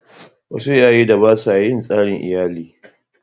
Wasu iyayen da ba sa yi tsarin iyali.